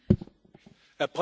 Herr Präsident!